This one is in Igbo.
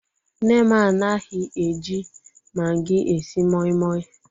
Nne m anaghi eji magi esi moimoi